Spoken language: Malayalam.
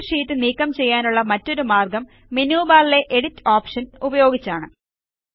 പ്രത്യേക ഷീറ്റ് നീക്കം ചെയ്യാനുള്ള മറ്റൊരു മാർഗ്ഗം മെനു ബാറിലെ എഡിറ്റ് ഓപ്ഷൻ ഉപയോഗിച്ചാണ്